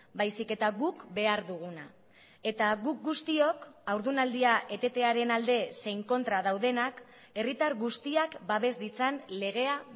baizik eta guk behar duguna eta guk guztiok haurdunaldia etetearen alde zein kontra daudenak herritar guztiak babes ditzan legea